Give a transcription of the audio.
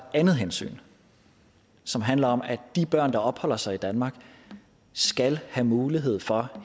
andet hensyn som handler om at de børn der opholder sig i danmark skal have mulighed for